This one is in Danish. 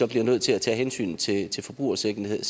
vi nødt til at tage hensyn til til forbrugersikkerheden